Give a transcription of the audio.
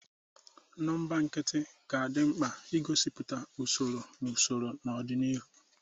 Nọmba nkịtị ga-adị mkpa maka igosipụta usoro na usoro n'ọdịniihu.